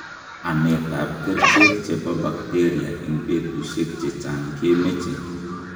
Ametab kerichek che bo bacteria eng betushiek chechang' kemeche.